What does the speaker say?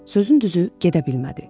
Sözün düzü, gedə bilmədi.